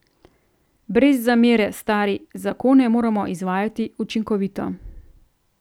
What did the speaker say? Brez zamere, stari, zakone moramo izvajati učinkovito.